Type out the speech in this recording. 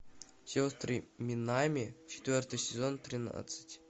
сестры минами четвертый сезон тринадцать